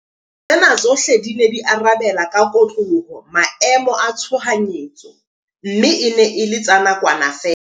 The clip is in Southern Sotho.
Tsena tsohle di ne di arabe la ka kotloloho maemo a tshohanyetso mme e ne e le tsa nakwana feela.